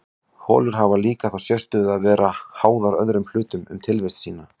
holur hafa líka þá sérstöðu að vera háðar öðrum hlutum um tilvist sína